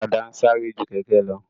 Ọ̀kadà ń sáré ju kẹ̀kẹ́ lọ